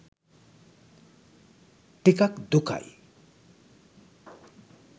ටිකක් දුකයි